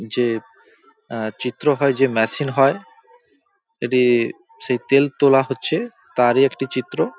যে অ্যা চিত্র হয় যে ম্যাশিন হয় এটি-ই সেই তেল তোলা হচ্ছে তারই একটি চিত্র ।